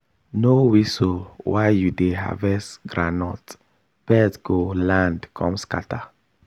no whistle while you dey harvest groundnut birds go land come scatter.